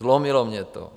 Zlomilo mě to.